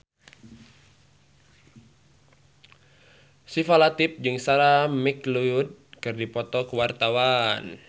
Syifa Latief jeung Sarah McLeod keur dipoto ku wartawan